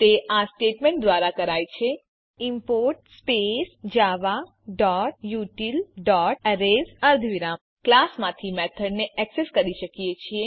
તે આ સ્ટેટમેંટ દ્વારા કરાય છે ઇમ્પોર્ટ javautilએરેઝ અર્ધવિરામ આપણે ક્લાસ માંથી મેથડ ને એક્સેસ કરી શકીએ છીએ